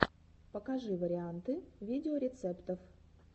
покажи варианты видеорецептов